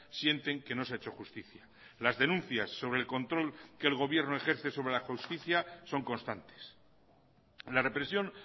sienten que no se ha hecho justicia las denuncias sobre el control que el gobierno ejerce sobre la justicia son constantes la represión